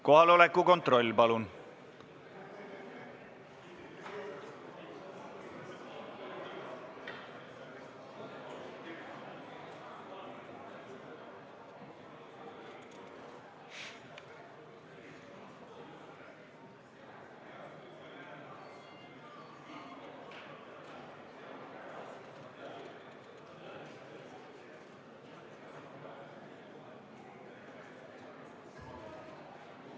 Kohaloleku kontroll, palun!